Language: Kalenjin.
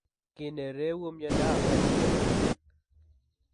Kiiiy ne reewu myondap Behet's komakiinken.